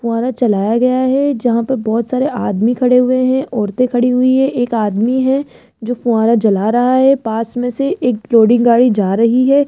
फव्वारा चलाया गया है जहां पे बहुत सारे आदमी खड़े हुए हैं औरतें खड़ी हुई है एक आदमी है जो फुव्वारा जला रहा है पास में से एक लोडिंग गाड़ी जा रही है।